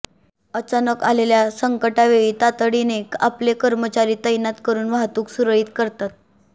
अचानक आलेल्या संकटावेळी तातडीने आपले कर्मचारी तैनात करून वाहतूक सुरळीत करतात